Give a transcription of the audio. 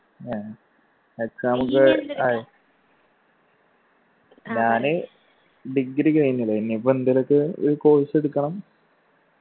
എഹ് exam ഒക്കെ ഞാന് degree കഴിഞ്ഞ് ലെ ഇനി ഇപ്പൊ എന്തേലു ഒക്കെ ഒരു course എടുക്കണം